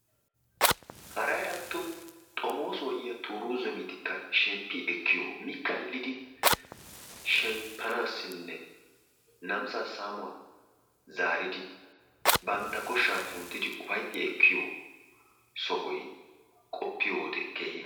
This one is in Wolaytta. Haray atto xommoosuwa yiya tooru zammetikka shemppi ekkiyo mi kallidi shemppanaassinne namisaa saamuwa zaaridi bantta koshaa zaaridi ufaytti ekkiyo sohoy qoppiyo wode keehi